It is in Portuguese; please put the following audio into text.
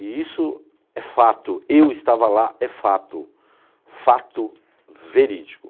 E isso é fato, eu estava lá, é fato, fato verídico.